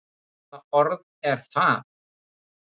Hvaða orð er það?